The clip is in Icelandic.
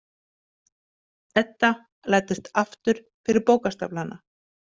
Edda læddist aftur fyrir bókastaflana.